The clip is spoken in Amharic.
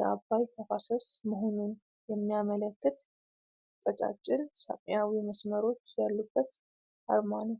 የአባይ ተፋሰስ መሆኑን የሚያመለከት ቀጫጭን ሰማያዊ መስመሮች አሉበት አርማ ነው።